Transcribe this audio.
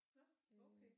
Nå okay